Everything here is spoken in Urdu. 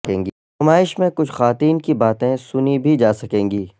نمائش میں کچھ خواتین کی باتیں سنی بھی جا سکیں گی